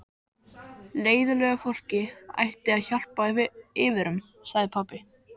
Leiðinlegu fólki ætti að hjálpa yfir um, sagði pabbi.